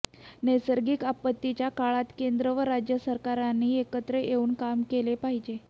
नैसर्गिक आपत्तीच्या काळात केंद्र आणि राज्य सरकारांनी एकत्र येऊन काम केले पाहिजे